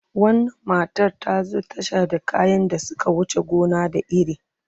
Wannan matar ta zo tasha da kayan da suka wuce gona da iri.